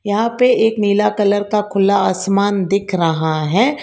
यहां पे एक नीला कलर का खुला आसमान दिख रहा है।